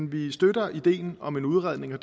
vi støtter ideen om en udredning og